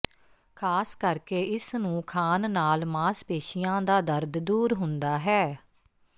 ਖ਼ਾਸ ਕਰ ਕੇ ਇਸ ਨੂੰ ਖਾਣ ਨਾਲ ਮਾਸਪੇਸ਼ੀਆਂ ਦਾ ਦਰਦ ਦੂਰ ਹੁੰਦਾ ਹੈ